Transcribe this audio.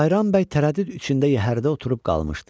Bayram bəy tərəddüd içində yəhərdə oturub qalmışdı.